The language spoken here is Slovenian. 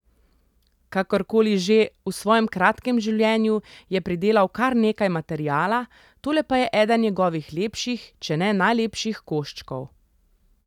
Kakorkoli že, v svojem kratkem življenju je pridelal kar nekaj materiala, tole pa je eden njegovih lepših, če ne najlepših koščkov.